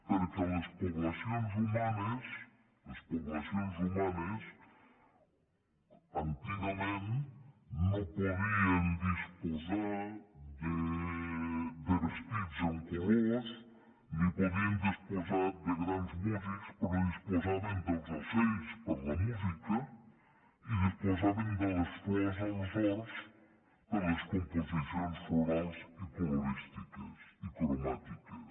perquè a les poblacions humanes a les poblacions humanes antigament no podien disposar de vestits en colors ni podien disposar de grans músics però disposaven dels ocells per la música i disposaven de les flors als horts per les composicions florals i acolorístiques i cromàtiques